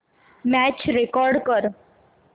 match record कर